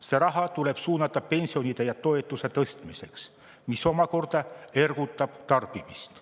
See raha tuleb suunata pensionide ja toetuste tõstmiseks, mis omakorda ergutab tarbimist.